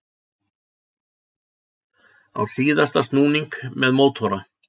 Á síðasta snúning með mótora